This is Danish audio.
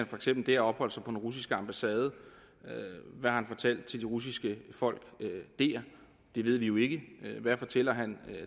for eksempel der opholdt sig på den russiske ambassade hvad har han fortalt til de russiske folk dér det ved vi jo ikke hvad fortæller han